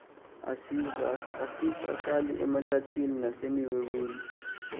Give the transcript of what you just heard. azisahlali mahlathini nasemiweweni